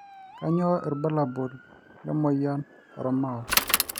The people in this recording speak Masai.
kanyio irbulabul le moyian oormao